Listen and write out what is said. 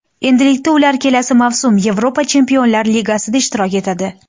Endilikda ular kelasi mavsum Yevropa Chempionlar ligasida ishtirok etadi.